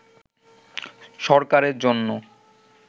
সরকারের জন্য